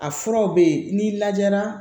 A furaw bɛ yen n'i lajɛra